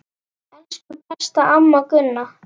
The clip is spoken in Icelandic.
Elsku besta amma Gunna.